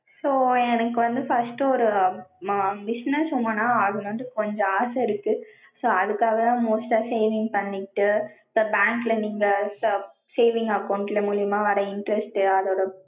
so எனக்கு வந்து first ஒரு business woman னா ஆகணும்னு கொஞ்சம் ஆச இருக்கு. so அதுக்காக தான் most டா saving பண்ணிட்டு, இப்ப bank ல நீங்க saving account மூலியமா வர்ற interest அதோட